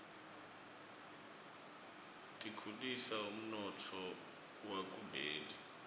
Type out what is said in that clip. tikhulisa umnotfo wakuleli